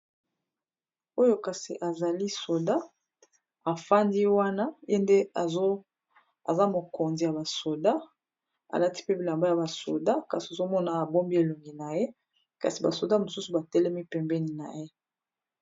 Oyo kasi ezali soda, afandi wana ye nde aza mokonzi ya basoda ! alati mpe bilamba ya basoda, kasi ozomona abombi elongi naye kasi basoda mosusu batelemi pembeni na ye !